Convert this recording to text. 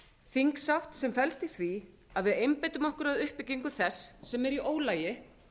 þingsátt sem felst í því að við einbeitum okkur að uppbyggingu þess sem er í ólagi